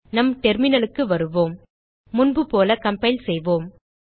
நம் terminalக்கு வருவோம் முன்புபோல கம்பைல் செய்வோம்